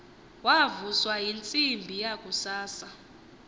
wavuswa yintsimbi yakusasa